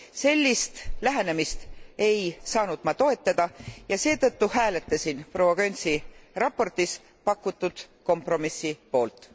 Sellist lähenemist ei saanud ma toetada ja seetõttu hääletasin proua Gönczi raportis pakutud kompromissi poolt.